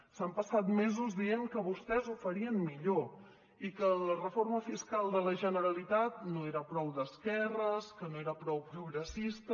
s’han passat mesos dient que vostès ho farien millor i que la reforma fiscal de la generalitat no era prou d’esquerres que no era prou progressista